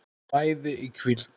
mæði í hvíld